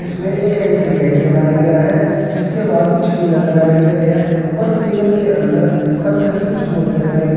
इसमें एक entry gate बनाया गया है जिसके बाद कुछ पिलर लगाए हुए है और पिलर के अंदर पत्थर की कुछ मूर्तियां लगाई गई --